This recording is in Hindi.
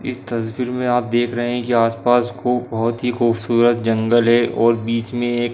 इस तस्वीर में आप देख रहे हैं कि आसपास खूब बोहोत ही खुबसूरत जंगल है और बीच में एक --